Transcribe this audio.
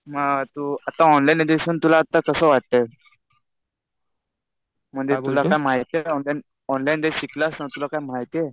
हा तु आता ऑनलाईन एज्युकेशन तुला तसं वाटतंय. म्हणजे तुला काय माहितीये का? ऑनलाईन जे शिकलास ना तुला काही माहितीये?